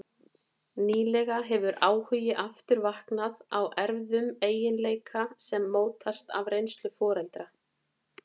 Nýlega hefur áhugi aftur vaknað á erfðum eiginleika sem mótast af reynslu foreldra.